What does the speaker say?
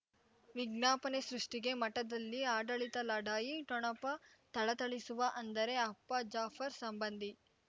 ವಿಜ್ಞಾಪನೆ ಸೃಷ್ಟಿಗೆ ಮಠದಲ್ಲಿ ಆಡಳಿತ ಲಢಾಯಿ ಠೊಣಪ ಥಳಥಳಿಸುವ ಅಂದರೆ ಅಪ್ಪ ಜಾಫರ್ ಸಂಬಂಧಿ